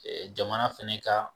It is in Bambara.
Jamana fana ka